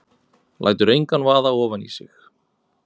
Lætur engan vaða ofan í sig.